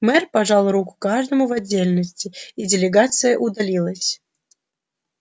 мэр пожал руку каждому в отдельности и делегация удалилась